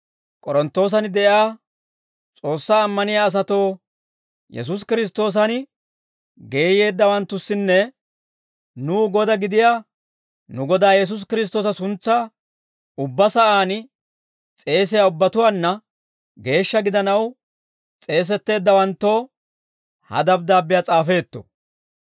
K'oronttoosan de'iyaa S'oossaa ammaniyaa asatoo, Yesuusi Kiristtoosan geeyyeeddawanttussinne, nuw Godaa gidiyaa nu Godaa Yesuusi Kiristtoosa suntsaa ubbaa sa'aan s'eesiyaa ubbatuwaanna geeshsha gidanaw s'eesetteeddawanttoo ha dabddaabbiyaa s'aafeetto.